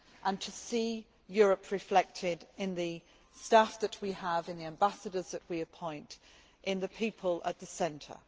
I wish to see Europe reflected in the staff that we have, in the ambassadors that we appoint, in the people at the centre.